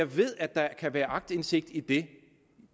ved at der kan være aktindsigt i det